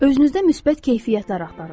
Özünüzdə müsbət keyfiyyətlər axtarın.